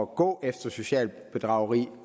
gå efter socialt bedrageri